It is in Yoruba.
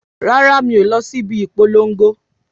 Rárá mi o lọ síbi ìpolongo